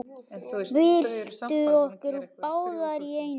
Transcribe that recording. Byltum okkur báðar í einu.